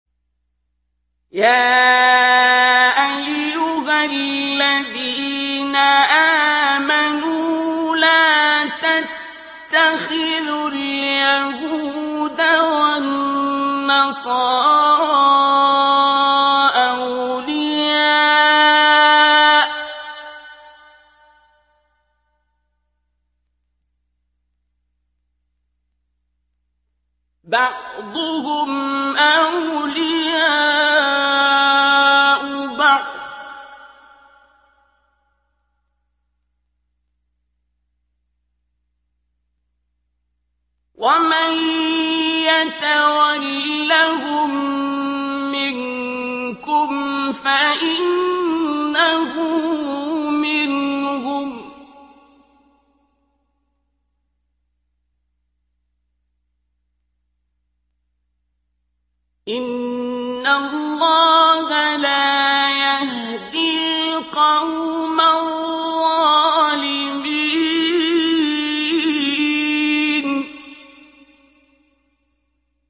۞ يَا أَيُّهَا الَّذِينَ آمَنُوا لَا تَتَّخِذُوا الْيَهُودَ وَالنَّصَارَىٰ أَوْلِيَاءَ ۘ بَعْضُهُمْ أَوْلِيَاءُ بَعْضٍ ۚ وَمَن يَتَوَلَّهُم مِّنكُمْ فَإِنَّهُ مِنْهُمْ ۗ إِنَّ اللَّهَ لَا يَهْدِي الْقَوْمَ الظَّالِمِينَ